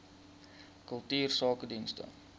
kultuursakedienste